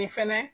Nin fɛnɛ